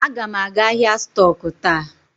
Aga m aga ahịa stọk taa.